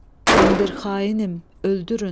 Mən bir xainəm, öldürün!